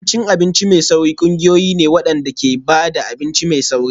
Abincin abinci mai sauri ƙungiyoyi ne waɗanda ke ba da abinci mai sauri.